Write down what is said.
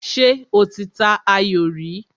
Ṣé o ti ta ayò rí?